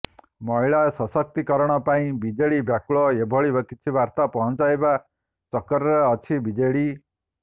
ମହିଳା ଶସକ୍ତି କରଣ ପାଇଁ ବିଜେଡି ବ୍ୟାକୁଳ ଏଭଳି କିଛି ବାର୍ତା ପହଁଛାଇବା ଚକ୍କରରେ ଅଛି ବିଜେଡି